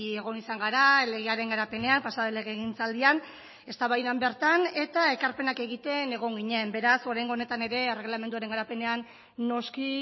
egon izan gara legearen garapenean pasa den legegintzaldian eztabaidan bertan eta ekarpenak egiten egon ginen beraz oraingo honetan ere erregelamenduaren garapenean noski